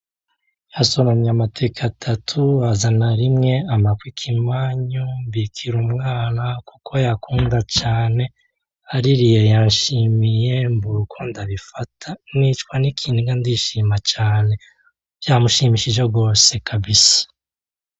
Yasoromye amateke atatu azana rimwe ampako ikimanyu mbikira umwana kuko ayakunda cane. Aririye yanshimiye mbura uko ndabifata. nicwa n'ikiniga ndishima cane. Vyamushimishije gose kabisa.